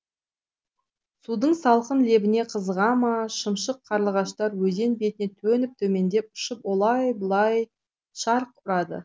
судың салқын лебіне қызыға ма шымшық қарлығаштар өзен бетіне төніп төмендеп ұшып олай бұлай шарқ ұрады